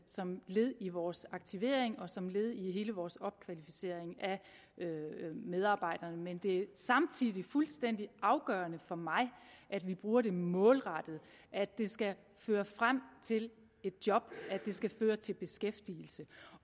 som led i vores aktivering og som led i hele vores opkvalificering af medarbejderne men det er samtidig fuldstændig afgørende for mig at vi bruger det målrettet at det skal føre frem til et job at det skal føre til beskæftigelse